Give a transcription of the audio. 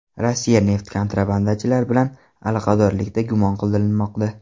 Rossiya neft kontrabandachilari bilan aloqadorlikda gumon qilinmoqda.